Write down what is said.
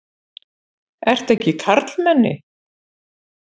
Ertu ekki karlmenni?